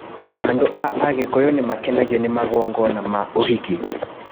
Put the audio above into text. Andũ a Agikuyu nĩ maakenagio nĩ magongona ma ũhiki